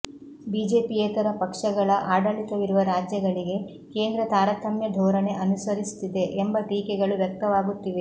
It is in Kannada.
ಬಿಜೆಪಿಯೇತರ ಪಕ್ಷಗಳ ಆಡಳಿತವಿರುವ ರಾಜ್ಯಗಳಿಗೆ ಕೇಂದ್ರ ತಾರತಮ್ಯ ಧೋರಣೆ ಅನುಸರಿಸುತ್ತಿದೆ ಎಂಬ ಟೀಕೆಗಳು ವ್ಯಕ್ತವಾಗುತ್ತಿವೆ